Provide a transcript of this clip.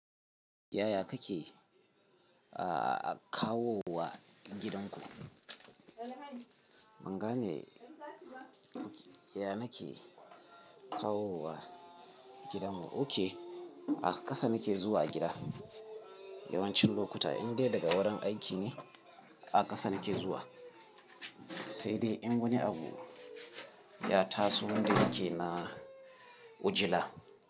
Yaya kake, ah, kawowa gidanku? Banga ne, ya nake kawowa gidan mu. Ok, a ƙasa nake zuwa gida yawancin lokuta, in dai daga wurin aiki ne a ƙasa nake zuwa. Sai dai in wani abu ya taso wanda yake na ujila.